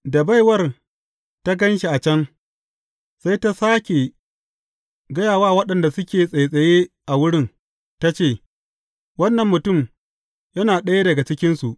Da baiwar ta gan shi a can, sai ta sāke gaya wa waɗanda suke tsattsaye a wurin, ta ce, Wannan mutum yana ɗaya daga cikinsu.